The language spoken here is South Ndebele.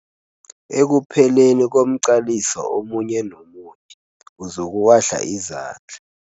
Ekupheleni komqaliso omunye nomunye uzokuwahla izandla.